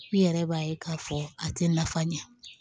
I yɛrɛ b'a ye k'a fɔ a tɛ nafa ɲɛ